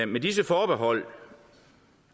med disse forbehold